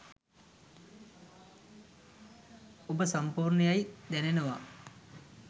ඔබ සම්පූර්ණ යැයි දැනෙනවා.